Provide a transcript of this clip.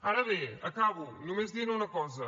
ara bé acabo només dient una cosa